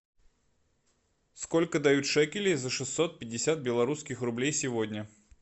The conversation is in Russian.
сколько дают шекелей за шестьсот пятьдесят белорусских рублей сегодня